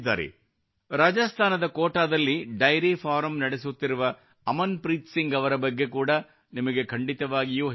ರಾಜಸ್ತಾನದ ಕೋಟಾದಲ್ಲಿ dairy farm ನಡೆಸುತ್ತಿರುವ ಅಮನ್ ಪ್ರೀತ್ ಸಿಂಗ್ ಅವರ ಬಗ್ಗೆ ಕೂಡಾ ನಿಮಗೆ ಖಂಡಿತವಾಗಿಯೂ ಹೇಳಬೇಕಿದೆ